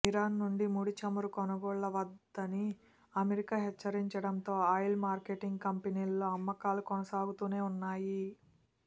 Iran నుంచి ముడి చమురు కొనుగోళ్ళ వద్దని అమెరికా హెచ్చరించడంతో ఆయిల్ మార్కెటింగ్ కంపెనీల్లో అమ్మకాలు కొనసాగుతూనే ఉన్నాయి